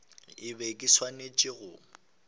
ke be ke swanetše go